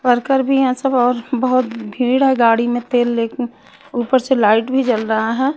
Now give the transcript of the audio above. Worker भी यहाँ सब और बहोत भीड़ है गाड़ी में तेल लेके ऊपर से लाइट भी जल रहा हैं।